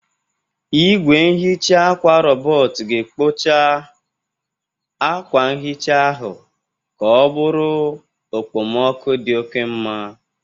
Igwe nhicha akwa rọbọt ga-ekpocha akwa nhicha ahụ ka ọ bụrụ okpomoku dị oke mma.